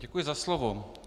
Děkuji za slovo.